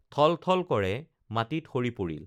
ঠল ঠল কৰে মাটিত সৰি পৰিল